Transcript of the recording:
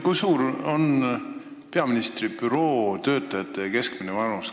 Kui suur on peaministri büroo töötajate keskmine vanus?